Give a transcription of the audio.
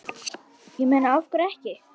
Ég meina af hverju ekki?